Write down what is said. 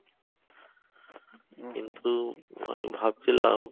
কিন্তু আমি ভাবছিলাম